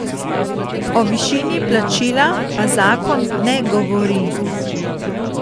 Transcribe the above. O višini plačila pa zakon ne govori.